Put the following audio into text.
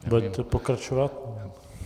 Budete pokračovat?